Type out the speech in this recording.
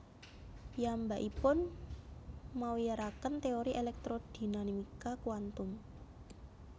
Piyambakipun mawiyaraken téori elektrodinamika kuantum